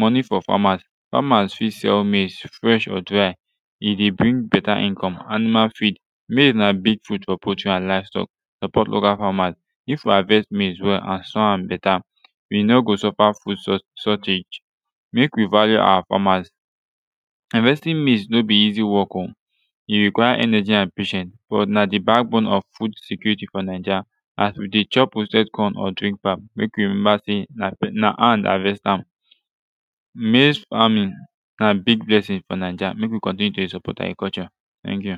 moni fo famas famas fit sell maize fresh or dry e de bring beta income animal feed maize na big food fo poultry an livestock help of local famas if we havest maize well an so wan beta we no go suffer food shortage mek we value our famas havestin maize no be easi work o e require energy an patience but na de backbone of food securiti fo naija as we de chop roasted corn or drink pap mek we remember sey na hand havest am maize faming na big blessing fo naija mek we kontinue to de support agriculture naija tank yu